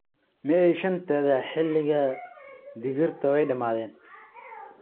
May 5-deeda, xilliga digirta waa dhammaaday.